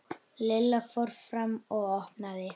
Lilla fór fram og opnaði.